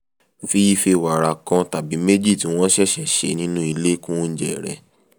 fi ife wàrà kan tàbí méjì tí wọ́n ṣẹ̀ṣẹ̀ ṣe nínú ilé kún oúnjẹ rẹ̀